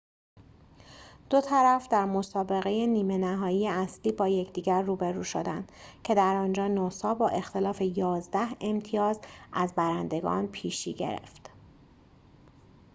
دو طرف در مسابقه نیمه نهایی اصلی با یکدیگر روبرو شدند که در آنجا نوسا با اختلاف ۱۱ امتیاز از برندگان پیشی گرفت